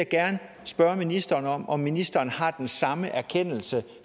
gerne spørge ministeren om ministeren har den samme erkendelse